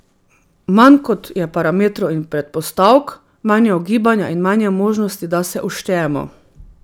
Manj kot je parametrov in predpostavk, manj je ugibanja in manj je možnosti, da se uštejemo.